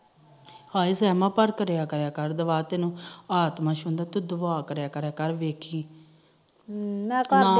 ਹਾਏ ਦੂਆ ਤੈਨੂੰ ਆਤਮਾ ਛੁਦ ਤੂੰ ਦੁਆ ਕਰਿਆ ਕਰ ਤੂੰ ਦੇਖੀ ਹਮ ਮੈ ਕਰਦੀ